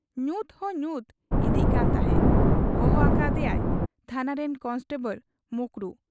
ᱧᱩᱛ ᱦᱚᱸ ᱧᱩᱛ ᱤᱫᱤᱜ ᱠᱟᱱ ᱛᱟᱦᱮᱸᱫ ᱾ ᱦᱚᱦᱚ ᱟᱠᱟ ᱦᱟᱫᱮᱭᱟᱭ ᱛᱷᱟᱱᱟ ᱨᱤᱱ ᱠᱚᱱᱮᱥᱴᱚᱵᱚᱲ ᱢᱚᱠᱨᱩ ᱾